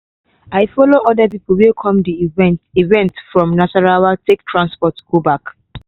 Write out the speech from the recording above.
i follow other people wey come di event event from nasarawa take transport go back